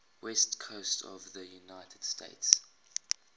west coast of the united states